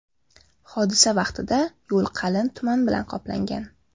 Hodisa vaqtida yo‘l qalin tuman bilan qoplangan.